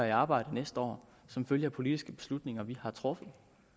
i arbejde næste år som følge af politiske beslutninger vi har truffet